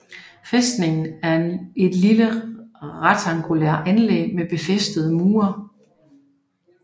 Fæstningen er et lille rektangulær anlæg med befæstede mure